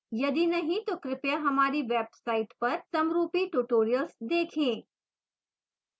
यदि नहीं तो कृपया हमारी website पर समरूपी tutorials देखें